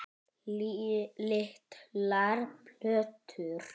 Litlar plötur